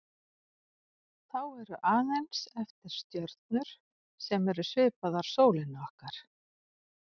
Þá eru aðeins eftir stjörnur sem eru svipaðar sólinni okkar.